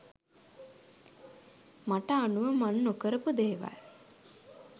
මට අනුව මං නොකරපු දේවල්.